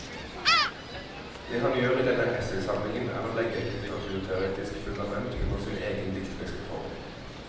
Det han gjør i denne essaysamlingen er å legge et litteraturteoretisk fundament under sin egen dikteriske form.